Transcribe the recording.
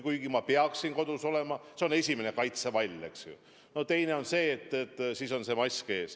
Kuigi ma peaksin kodus olema, see on esimene kaitsevall, eks ju, ja teine on see, et mask on ees.